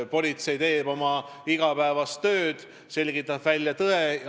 Politsei teeb oma igapäevast tööd, selgitab välja tõe.